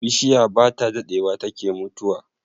Bishiya bata dadewa take mutuwa